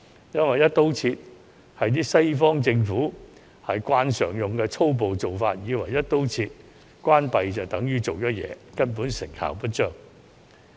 "一刀切"是西方政府慣常採用的粗暴做法，以為"一刀切"關閉所有處所就等於做了事，根本成效不彰。